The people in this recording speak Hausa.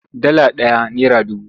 Dala ɗaya nera dubu.